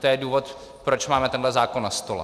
To je důvod, proč máme tenhle zákon na stole.